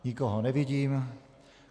Nikoho nevidím.